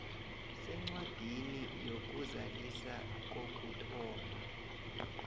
sencwadi yokuzazisa kokuthoma